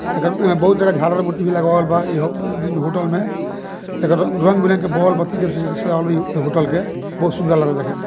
एकर में बहुत तरह के झालर मूर्ति लगावल बा इ होटल में एकर रंग-बिरंग के बोलब बत्ती सजावल बा इ होटल के बहुत सुंदर लागता देखे में।